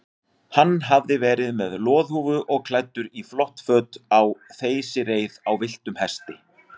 Hann hafði verið með loðhúfu og klæddur í flott föt á þeysireið á villtum hesti.